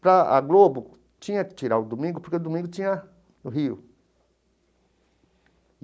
Para a Globo, tinha que tirar o domingo, porque o domingo tinha o Rio.